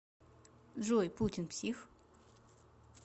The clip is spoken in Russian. джой путин псих